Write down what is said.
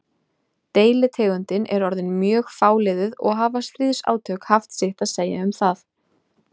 Deilitegundin er orðin mjög fáliðuð og hafa stríðsátök haft sitt að segja um það.